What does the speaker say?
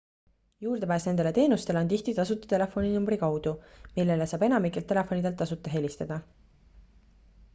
juurdepääs nendele teenustele on tihti tasuta telefoninumbri kaudu millele saab enamikelt telefonidelt tasuta helistada